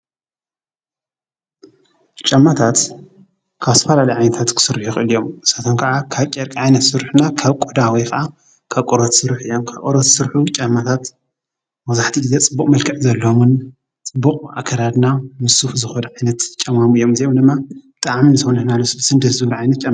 ጫማታት ካብ ዝተፈላለዩ ዓይነታት ክስርሑ ይክእሉ እዮም ። ንሳቶም ከዓ ካብ ጨርቂ ዓይነት ዝስርሑ እና ካብ ቆዳ ውይ ከዓ ካብ ቆርበት ዝስርሑ እዮም። ካብ ቆርበት ዝስርሑ ጫማታት መብዛሕትኡ ግዘ ፅቡቅ መልክዕ ዘለዎምን ፅቡቅ አከዳድና ምስ ሱፍ ዝክዱ ጫማሙ እዮም። እዚኦም ድማ ልስሉስን ደስ ዝብሉ ዓይነት ጫማ::